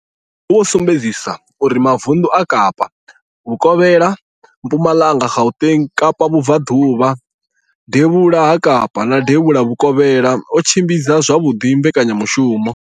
Vho sumbedzisa uri mavundu a Kapa Vhukovhela, Mpumalanga, Gauteng, Kapa Vhubvaḓuvha, Devhula ha Kapa na Devhula Vhukovhela o tshimbidza zwavhuḓi mbekanya mushumo